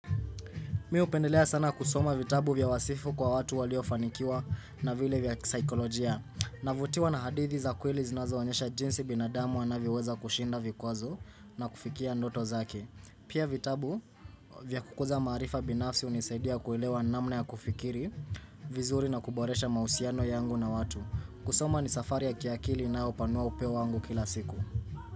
Mimi hupendelea sana kusoma vitabu vya wasifu kwa watu waliofanikiwa na vile vya kisikolojia. Navutiwa na hadithi za kweli zinazoonyesha jinsi binadamu anavoweza kushinda vikwazo na kufikia ndoto zake. Pia vitabu vya kukuza marifa binafsi hunisaidia kuelewa namna ya kufikiri, vizuri na kuboresha mahusiano yangu na watu. Kusoma ni safari ya kiakili na upanua upeo wangu kila siku.